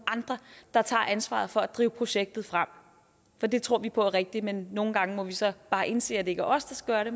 andre der tager ansvaret for at drive projektet frem for det tror vi på er rigtigt men nogle gange må vi så bare indse at det ikke er os der skal